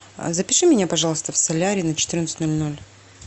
запиши меня пожалуйста в солярий на четырнадцать ноль ноль